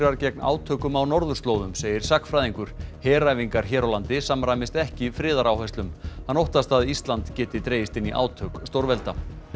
gegn átökum á norðurslóðum segir sagnfræðingur heræfingar hér á landi samræmist ekki hann óttast að Ísland geti dregist inn í átök stórvelda